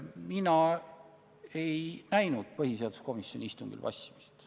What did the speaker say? Mina ei näinud põhiseaduskomisjoni istungil vassimist.